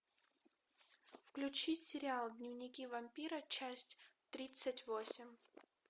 включить сериал дневники вампира часть тридцать восемь